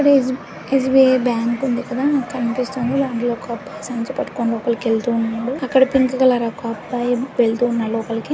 SB S _B _I _ bank ఉంది ఇక్కడ కనిపిస్తుంది ఒక సంచి పట్టుకొని అక్కడికి వెళ్తూ ఉన్నారు అక్కడ పింక్ కలర్ ఒక అబ్బాయి వెళ్తూ ఉన్నాడు